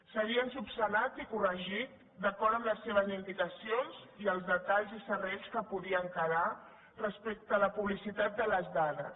s’havien resolt i corregit d’acord amb les seves indicacions i els detalls i serrells que podien quedar respecte a la publicitat de les dades